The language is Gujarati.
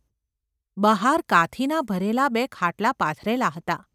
બહાર કાથીના ભરેલા બે ખાટલા પાથરેલા હતા.